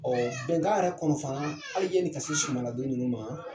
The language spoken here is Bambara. bɛnkan yɛrɛ kɔnɔ fana, hali ɲani ka se sumaladon ninnu ma